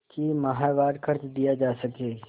कि माहवार खर्च दिया जा सके